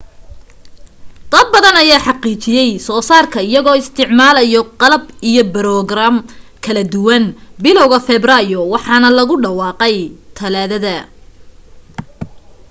dad badan ayaa xaqiijiyay soo saarka iyagoo isticmaalayo qalab iyo broogaraam kala duduwan bilawga febraayo waxaana lagu dhawaaqay talaadada